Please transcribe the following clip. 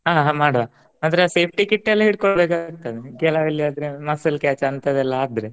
ಆ ಹ ಮಾಡುವ ಮಾತ್ರ safety kit ಎಲ್ಲಾ ಹಿಡ್ಕೋಬೇಕಾಗ್ತದ ಕೆಲವಲ್ಲಾ ಆದ್ರೆ muscle catch ಅಂತವೆಲ್ಲ ಆದ್ರೆ.